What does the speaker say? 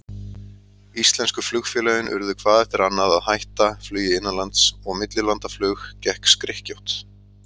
Íslensku flugfélögin urðu hvað eftir annað að hætta flugi innanlands, og millilandaflug gekk skrykkjótt.